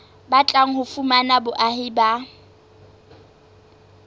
batlang ho fumana boahi ba